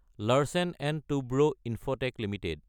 Larsen & Toubro Infotech Ltd